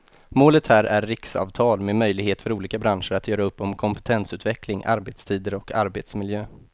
Målet här är riksavtal med möjlighet för olika branscher att göra upp om kompetensutveckling, arbetstider och arbetsmiljö.